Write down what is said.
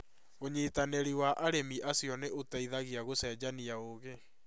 ũnyitanĩri wa arĩmi acio nĩ ũteithagia gũcenjania ũũgi.